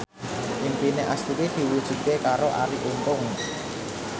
impine Astuti diwujudke karo Arie Untung